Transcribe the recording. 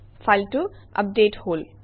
ফাইলটো আপডেটেড হল